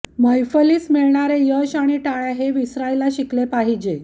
मैफलीस मिळणारे यश आणि टाळय़ा हे विसरायला शिकले पाहिजे